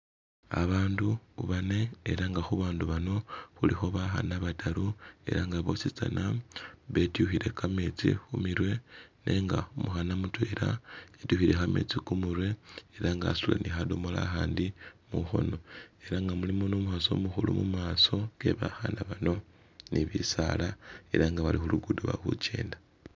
Abandu bane ela nga khubandu bano khulikho bakhana bataru ela nga bosi tsana betyukhile kametsi khu mirwe nenga umukhana mutwela atyukhile kametsi khumurwe ela nga wasutile ne khadomola akhandi mukhono, ela nga mulimo ne umukhasi umukhulu mumaso ke bakhana bano ne bisaala ela nga bali khulugudo bali khukenda.